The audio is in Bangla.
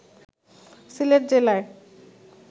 সিলেট জেলায়